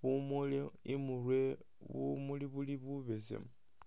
bumuli imurwe bumuli buli bubesemu